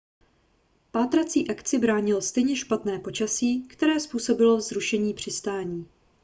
pátrácí akci bránilo stejně špatné počasí které způsobilo zrušené přistání